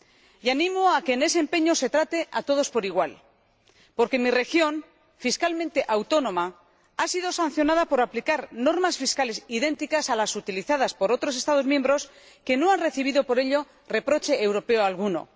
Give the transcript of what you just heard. Y animo a que en ese empeño se trate a todos por igual, porque mi región, fiscalmente autónoma, ha sido sancionada por aplicar normas fiscales idénticas a las utilizadas por otros Estados miembros que no han recibido por ello reproche europeo alguno.